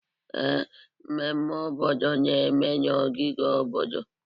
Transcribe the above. Ee, mmemme obodo na-eme na ogige obodo.